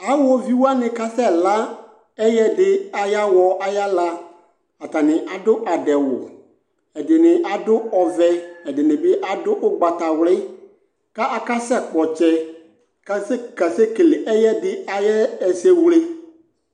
Awɔviwanɩ kasɛ la ɛyɛdɩ ay 'awɔ ay'ala Atanɩ adʋ adɛwʋ : ɛdɩnɩ adʋ ɔvɛ ɛdɩnɩ bɩ adʋ ʋgbatawlɛ ; ka akasɛ kpɔtsɛ kase kasekele ɛyɛdɩ ay'ɛ esewle